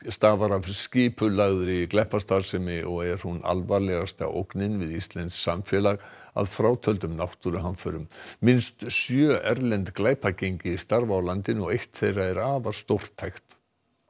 stafar af skipulagðri glæpastarfsemi og er hún alvarlegasta ógnin við íslenskt samfélag að frátöldum náttúruhamförum minnst sjö erlend glæpagengi starfa á landinu og eitt þeirra er afar stórtækt